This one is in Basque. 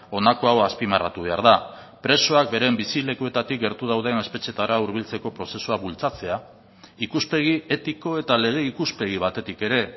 honako hau azpimarratu behar da presoak beren bizilekuetatik gertu dauden espetxeetara hurbiltzeko prozesua bultzatzea ikuspegi etiko eta lege ikuspegi batetik ere